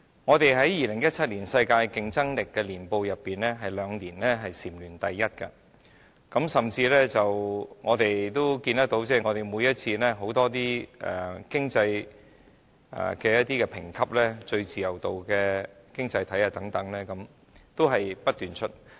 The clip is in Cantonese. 我們在《2017年世界競爭力年報》內，有兩年也是禪聯第一，我們甚至看到，在很多經濟評級上，例如最高自由度經濟體等，每次也是不斷上榜的。